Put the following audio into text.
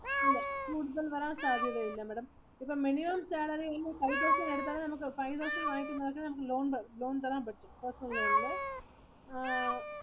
ഇല്ല ഇതിൽ കൂടുതൽ വരൻ സാധ്യത ഇല്ല Madam. ഇപ്പം മിനിമം five thousand ഇന് അടുത്താണെ നമുക്ക് five thousand ഇന് ആയിട്ടു മാത്രമേ loan തരാൻ പറ്റു. personal loan ഇല്